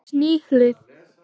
Sex ný hlið